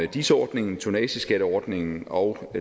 dis ordningen tonnageskatteordningen og